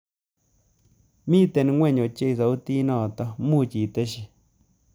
Miten ingweny ochei sautitnoto muuch itesyi